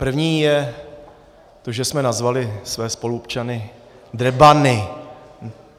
První je to, že jsme nazvali své spoluobčany drbany.